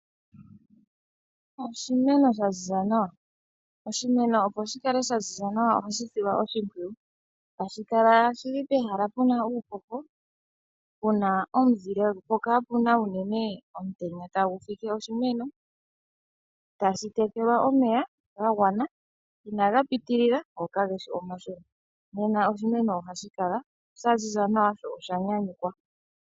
Oshimeno sha ziza nawa. Oshimeno opo shikale sha ziza nawa, ohashi silwa oshimpwiyu. Tashi Kala shili pehala puna uuhoho, puna omuzile, po kapuna unene omutenya tagu fike oshimeno. Tashi tekelwa omeya ga gwana inaga pitilila go ka geshi omashona. Nena oshimeno ohashi kala sha ziza nawa sho osha nyanyukwa.